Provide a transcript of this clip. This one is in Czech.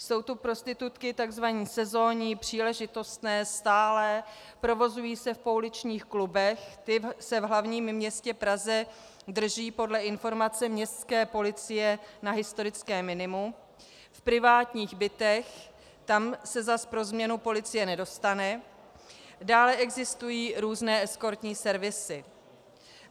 Jsou tu prostitutky tzv. sezónní, příležitostné, stálé, provozují se v pouličních klubech, ty se v hlavním městě Praze drží podle informace městské policie na historickém minimu, v privátních bytech, tam se zase pro změnu policie nedostane, dále existují různé eskortní servisy.